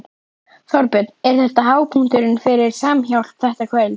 Þorbjörn: Er þetta hápunkturinn fyrir Samhjálp, þetta kvöld?